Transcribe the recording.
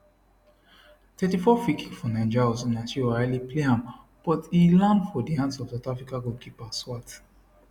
34 freekick for nigeria osinachi ohale play am but e land for di hands of south africa goalkeeper swart